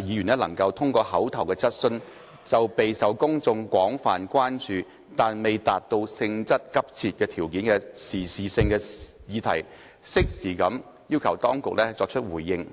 議員能通過口頭質詢，就備受公眾廣泛關注但未達到性質急切條件的時事性議題，適時地要求政府當局作出回應。